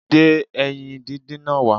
Gbé ẹyin díndín náà wá